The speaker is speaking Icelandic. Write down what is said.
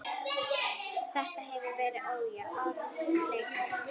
Þetta hefur verið ójafn leikur.